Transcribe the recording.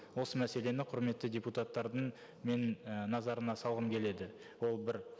осы мәселені құрметті депутаттардың мен і назарына салғым келеді ол бір